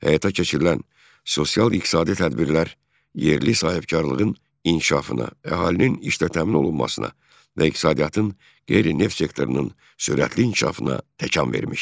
Həyata keçirilən sosial-iqtisadi tədbirlər yerli sahibkarlığın inkişafına, əhalinin işlə təmin olunmasına və iqtisadiyyatın qeyri-neft sektorunun sürətli inkişafına təkan vermişdi.